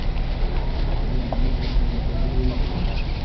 Det blir mindre plass for fantasi og undring.